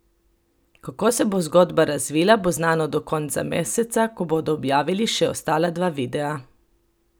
Kako se bo zgodba razvila, bo znano do konca meseca, ko bodo objavili še ostala dva videa.